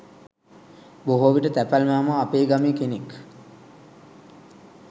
බොහෝ විට තැපැල් මාමා අපේ ගමේ කෙනෙක්